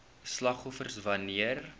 slagoffers wan neer